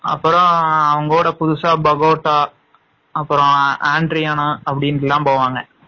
அப்பறம் அவங்களோட புதுசா பகோசா, அன்ட்ரயான அப்டி எல்லாம் போவாங்க.